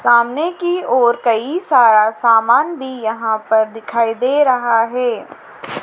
सामने की ओर कई सारा सामान भी यहां पर दिखाई दे रहा हैं।